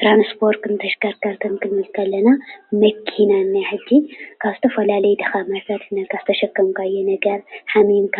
ትራንስፖርትን ተሽከርከርትን ክንብል ከለና መኪና እንኣ ሐጂ ካብ ዝተፈላላዩ ቦታታት ዝተሸኸምናዮ ነገር ሓሚሞካ